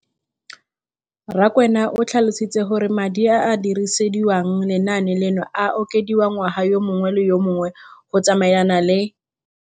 Rakwena o tlhalositse gore madi a a dirisediwang lenaane leno a okediwa ngwaga yo mongwe le yo mongwe go tsamaelana le